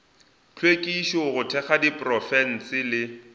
hlwekišo go thekga diprofense le